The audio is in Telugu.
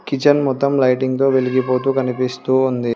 కిచెన్ మొత్తం లైటింగ్ తో వెలిగిపోతు కనిపిస్తూ ఉంది.